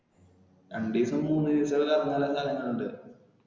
രണ്ടീസം മൂന്ന് ദിവസമൊക്കെ കറങ്ങാൻ ഉള്ള സ്ഥലങ്ങൾ ഉണ്ട്.